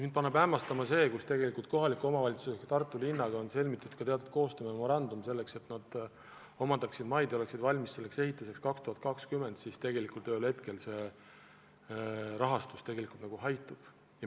Mind paneb hämmastama see, et kuigi kohaliku omavalitsuse ehk Tartu linnaga on sõlmitud teatud koostöömemorandum, et linn omandaks maid ja oleks 2020. aastaks ehituseks valmis, siis tegelikult see raha ühel hetkel nagu haihtub.